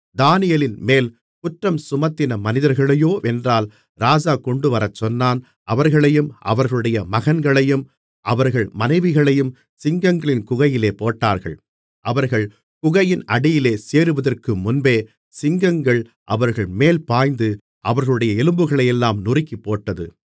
தானியேலின்மேல் குற்றம்சுமத்தின மனிதர்களையோவென்றால் ராஜா கொண்டுவரச்சொன்னான் அவர்களையும் அவர்களுடைய மகன்களையும் அவர்கள் மனைவிகளையும் சிங்கங்களின் குகையிலே போட்டார்கள் அவர்கள் குகையின் அடியிலே சேருவதற்குமுன்பே சிங்கங்கள் அவர்கள்மேல் பாய்ந்து அவர்களுடைய எலும்புகளையெல்லாம் நொறுக்கிப்போட்டது